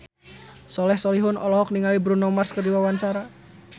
Soleh Solihun olohok ningali Bruno Mars keur diwawancara